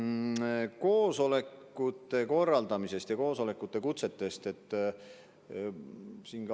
Kõigepealt koosolekute korraldamisest ja koosolekukutsetest.